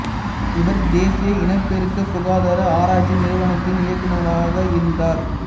இவர் தேசிய இனப்பெருக்க சுகாதார ஆராய்ச்சி நிறுவனத்தின் இயக்குநராக இருந்தார்